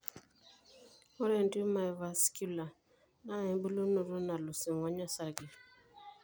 Ore entiuma evascular naa embulunoto nalus eng'ony osarge.